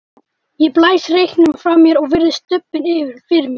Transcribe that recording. Ég blæs reyknum frá mér og virði stubbinn fyrir mér.